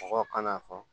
Mɔgɔw kana fɔ